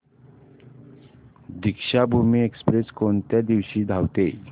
Deekshabhoomi express कोणत्या दिवशी धावते